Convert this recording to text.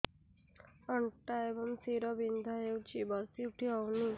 ଅଣ୍ଟା ଏବଂ ଶୀରା ବିନ୍ଧା ହେଉଛି ବସି ଉଠି ହଉନି